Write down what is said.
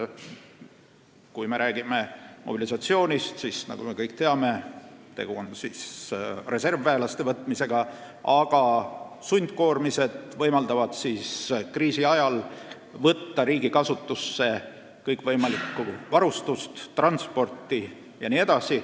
Kui me räägime mobilisatsioonist, siis nagu me kõik teame, on tegu reservväelaste võtmisega, aga sundkoormised võimaldavad kriisi ajal võtta riigi kasutusse kõikvõimalikku varustust, transpordivahendeid jne.